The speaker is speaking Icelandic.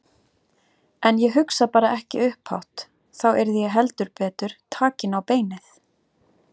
En ég hugsa bara ekki upphátt Þá yrði ég heldur betur takin á beinið.